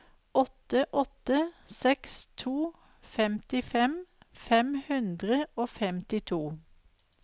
åtte åtte seks to femtifem fem hundre og femtito